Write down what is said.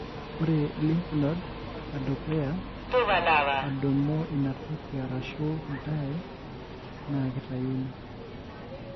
ore lymph node edukuya adumu ina toki arashu dyee na kitayuni.